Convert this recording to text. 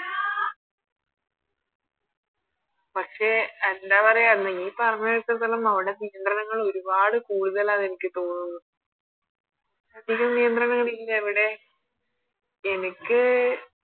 പക്ഷെ എന്താ പറയാ നീ പറഞ്ഞ കേട്ടെടുത്തോളം അവിടെ നിയന്ത്രണങ്ങൾ ഒരുപാട് കൂടുതലാന്ന് എനക്ക് തോന്നുന്നു അധിക നിയന്ത്രങ്ങളാണെങ്കിലവിടെ എനക്ക്